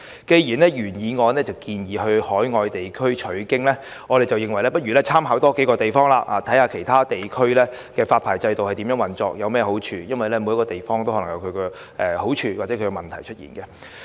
既然原議案建議參考海外地區的做法，我們認為不如多參考數個地方，看看其他地區的發牌制度如何運作及有何好處，因為每個地方也可能有各自的優劣。